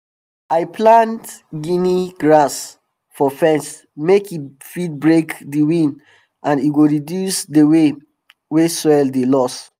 i plant gini grass for fence make e fit break di wind and e go reduce di way way wey soil dey loss